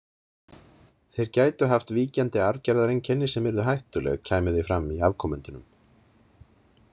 Þeir gætu haft víkjandi arfgerðareinkenni sem yrðu hættuleg kæmu þau fram í afkomendunum.